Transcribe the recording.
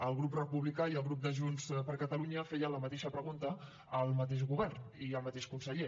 el grup republicà i el grup de junts per catalunya feien la mateixa pregunta al mateix govern i al mateix conseller